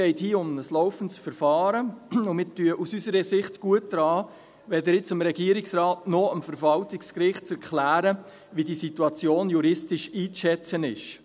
Es geht hier um ein laufendes Verfahren, und wir tun aus unserer Sicht gut daran, jetzt weder dem Regierungsrat noch dem Verwaltungsgericht zu erklären, wie die Situation juristisch einzuschätzen ist.